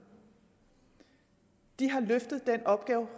de har løftet den opgave